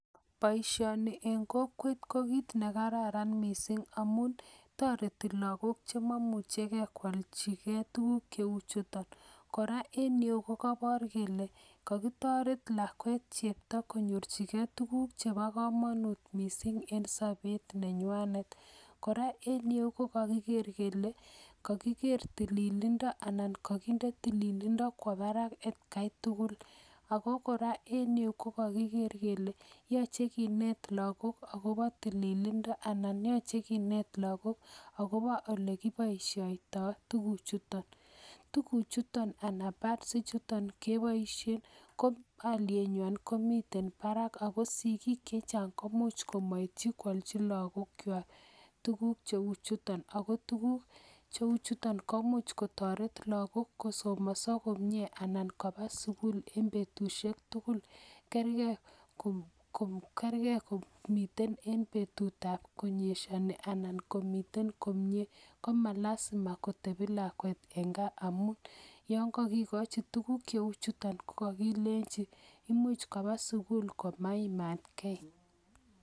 Boishoni ko boishet nekarran kot missing amun toretii logok chemoimuchegee kwolchii ge tuguk cheu chuto, kora en ireyu ko kobor kele kakitoret lakwet ne cheptoo konyorchigei tuguuk chebo komonut missing, en sobet nenywanet. Kora en ireu ko kakigeer kele tililindo anan kokitinde tililindo kwo barak etkai tugul. Ako kora en ireyu kokokigeer kele yoche kinet logok akobo tililindo anan yoche kinet logok akobo olekiboishiotoi tuguchuton. Tuguchuton anan pads ichuton keboishien ko olienywan komiten barak ako sigiik chechang komoch komoityii kwalchi logokychwak tuguk che chuton ako tuguuk cheu chuton komuch kotoret logook kosomoso komie anan kobaa sugul en betusiek tugul kergei komiten en betutab arawet anan komiten komie. komalasima kotebi lakwet en gaa amun yon kokikochi tuguuk cheu Chu kokilenyin imuche kobaa sugul komaimatgee